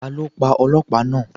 Ta ló pa Ọlọ́pàá náà?